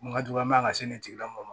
Kun ka jugu an ma ka se nin tigilamɔgɔ ma